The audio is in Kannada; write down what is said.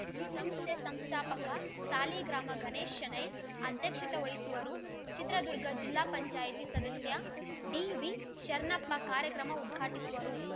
ಸಂಸ್ಥೆ ಸಂಸ್ಥಾಪಕ ಸಾಲಿಗ್ರಾಮ ಗಣೇಶ ಶೆಣೈ ಅಧ್ಯಕ್ಷತೆ ವಹಿಸುವರು ಚಿತ್ರದುರ್ಗ ಜಿಲ್ಲಾ ಪಂಚಾಯತಿ ಸದಸ್ಯ ಡಿವಿಶರಣಪ್ಪ ಕಾರ್ಯಕ್ರಮ ಉದ್ಘಾಟಿಸುವರು